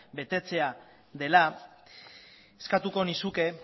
betetzea dela eskatuko nizuke